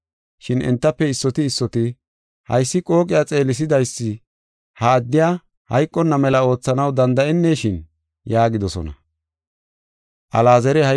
Shin entafe issoti issoti, “Haysi qooqiya xeelisidaysi ha addey hayqonna mela oothanaw danda7eneshin?” yaagidosona.